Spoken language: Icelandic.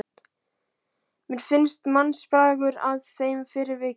Mér finnst mannsbragur að þeim fyrir vikið.